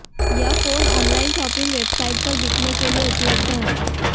यह phone online shopping website पर बिकने के लिए उपलब्ध है